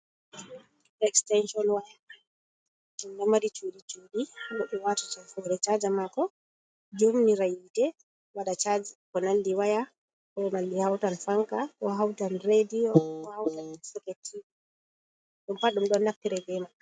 Estaison waya. Ɗum ɗo mari cuɗi cuɗi ha goɗɗo wata hore chaja mako. Jommira hite waɗa chaji. Ko nanɗi waya ko malli hautan fanca, koo houtan radio, ko houtan soket tivi. Ɗum paɗ ɗum ɗon naftire bemai.